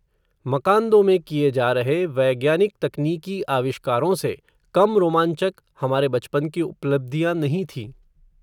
Macondo में किये जा रहे, वैज्ञानिक तकनीकी आविष्कारों से, कम रोमांचक, हमारे बचपन की उपलब्धियां नहीं थीं